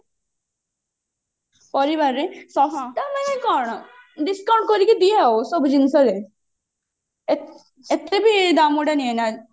ପରିବାରରେ ଶସ୍ତା ମିଳେ କଣ discount କରିକି ଦିଏ ଆଉ ସବୁ ଜିନିଷ ରେ ଏତେବି ଦାମ ଗୁଡା ନିଏନା